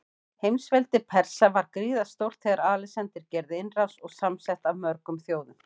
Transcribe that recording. Heimsveldi Persa var gríðarstórt þegar Alexander gerði innrás, og samsett af mörgum þjóðum.